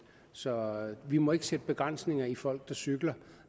så vi må ikke sætte begrænsninger for folk der cykler